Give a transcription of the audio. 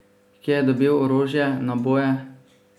Kje je dobil orožje, naboje?